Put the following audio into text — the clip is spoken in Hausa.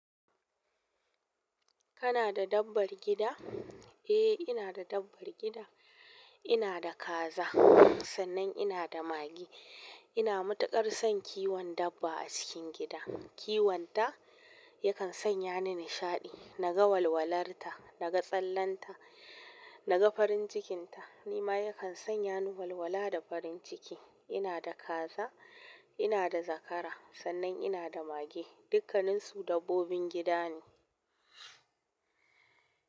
Kana da dabbar gida? Eh, ina da dabbar gida. Ina da kaza, sannan ina da mage. Ina matuƙar son kiwon dabba a cikin gida. Kiwan ta yakan sanya ni nishaɗi. Naga walwalar ta, naga tsallan ta, naga farin cikin ta. Ni ma yakan sanya ni walwala da farin ciki. Ina da kaza, ina da zakara, sannan ina da mage. Dukkanin su dabbobin gida ne.